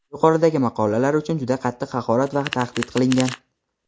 yuqoridagi maqolalar uchun juda qattiq haqorat va tahdid qilgan.